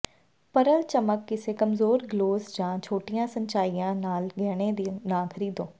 Pearl ਚਮਕ ਕਿਸੇ ਕਮਜ਼ੋਰ ਗਲੋਸ ਜਾਂ ਛੋਟੀਆਂ ਸੰਚਾਈਆਂ ਨਾਲ ਗਹਿਣੇ ਨਾ ਖਰੀਦੋ